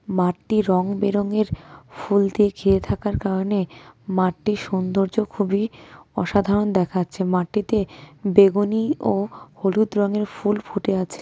মাঠটি রংবেরঙের ফুল দিয়ে ঘিরে থাকার কারণে মাঠটির সৌন্দর্য খুবই অসাধারণ দেখাচ্ছে মাঠটিতে বেগুনি ও হলুদ রঙের ফুল ফুটে আছে.